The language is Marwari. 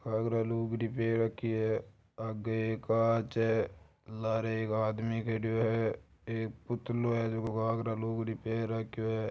घाघरा लूगड़ी पेर राखी है आगे एक कांच है लारे एक आदमी खड्यो है एक पुतलो है झको घाघरा लूगड़ी पेर राख्यो है।